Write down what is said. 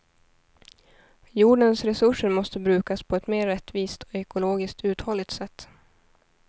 Jordens resurser måste brukas på ett mer rättvist och ekologiskt uthålligt sätt.